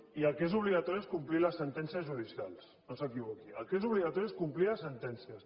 i el que és obligatori és complir les sentències judicials no s’equivoqui el que és obligatori és complir les sentències